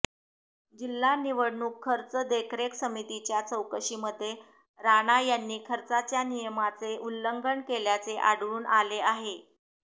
जिल्हा निवडणूक खर्च देखरेख समितीच्या चौकशीमध्ये राणा यांनी खर्चाच्या नियमाचे उल्लंघन केल्याचे आढळून आले होते